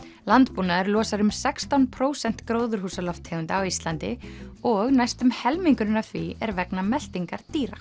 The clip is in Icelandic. landbúnaður losar um sextán prósent gróðurhúsalofttegunda á Íslandi og næstum helmingurinn af því er vegna meltingar dýra